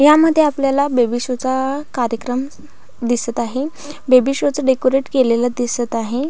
ह्या मध्ये आपल्याला बेबी शो चा कार्यक्रम दिसत आहे बेबी शो च डेकोरेट केलेल दिसत आहे.